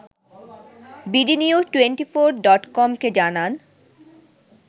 bdnews twenty four ডটকমকে জানান